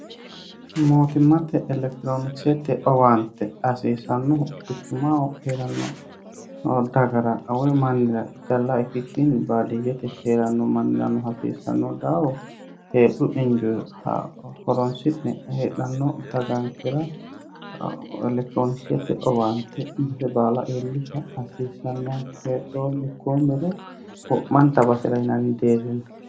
mootimmate elekitiroonikisette owaante hasiisannohu quchumaho hee'ranno dagara we mannira jallaa ikkikkinni baadiyyete hee'ranno manniranno haasiisanno daawo heedhu injue horonsi'ne hedhanno dagankira elektiroonishette owaante base baala eellisha hasiisannonkehedhoo mikkoo miro hu'manda basi'ra inanni deerrinna